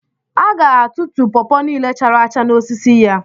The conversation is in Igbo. A ga tutuo pọpọ niile chara acha n'osisi ya